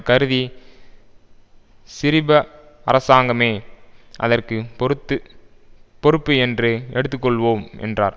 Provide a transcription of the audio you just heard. கருதி சிரிப அரசாங்கமே அதற்கு பொறுத்து பொறுப்பு என்று எடுத்து கொள்வோம் என்றார்